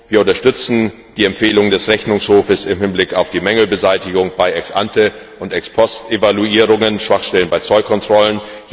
Wir unterstützen die Empfehlung des Rechnungshofes im Hinblick auf die Mängelbeseitigung bei Ex ante und Ex post Evaluierungen und bei Schwachstellen bei Zollkontrollen.